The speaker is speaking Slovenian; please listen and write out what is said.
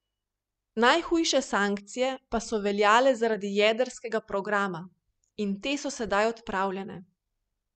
Najhujše sankcije pa so veljale zaradi jedrskega programa in te so sedaj odpravljene.